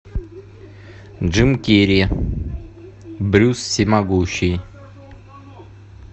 джим керри брюс всемогущий